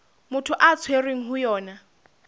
motho a tshwerweng ho yona